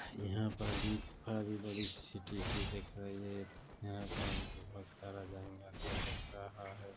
यहाँ पर भी आधी बड़ी सिटी सी दिख रही है यहाँ पर बहुत सारा जंगल सा दिख रहा है।